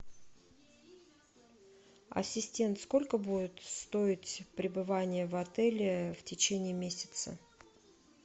ассистент сколько будет стоить пребывание в отеле в течение месяца